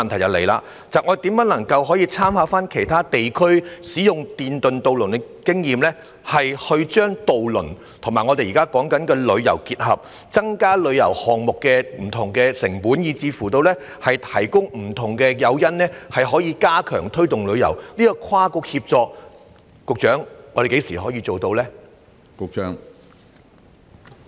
我的補充質詢是，參考其他地區使用電動渡輪的經驗，將渡輪與旅遊結合，以降低旅遊項目的成本，甚至提供不同的誘因以加強推動旅遊，請問局長我們何時能夠做到跨局協作呢？